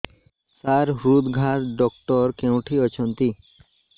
ସାର ହୃଦଘାତ ଡକ୍ଟର କେଉଁଠି ଅଛନ୍ତି